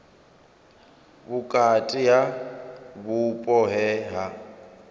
vhukati ha vhupo he ha